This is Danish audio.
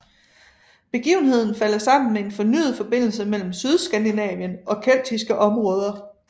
Begivenheden falder sammen med en fornyet forbindelse mellem Sydskandinavien og keltiske områder